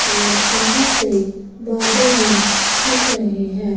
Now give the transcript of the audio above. और जहां से बादल भी दिख रहे हैं।